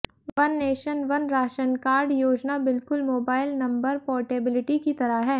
one nation one ration card योजना बिल्कुल mobile number portability की तरह है